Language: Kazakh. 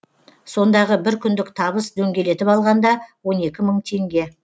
сондағы бір күндік табыс дөңгелетіп алғанда он екі мың теңге